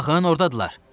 Baxın, ordadırlar!